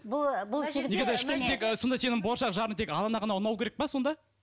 сонда сенің болашақ жарың тек анаңа ғана ұнау керек пе сонда